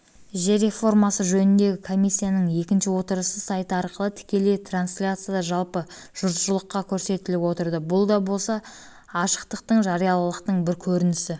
жер реформасы жөніндегі комиссияның екінші отырысы сайты арқылы тікелей трансляцияда жалпы жұртшылыққа көрсетіліп отырды бұл да болса ашықтықтың жариялылықтың бір көрінісі